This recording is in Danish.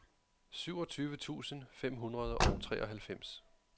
syvogtyve tusind fem hundrede og treoghalvfems